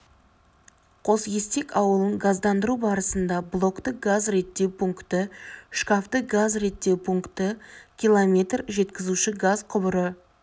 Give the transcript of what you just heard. қосестек ауылын газдандыру барысында блокты газ реттеу пункті шкафты газ реттеу пункті км жеткізуші газ құбыры